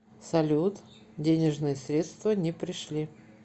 салют денежные средства не пришли